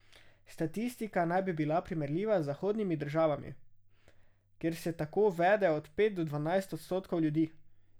Statistika naj bi bila primerljiva z zahodnimi državami, kjer se tako vede od pet do dvanajst odstotkov ljudi.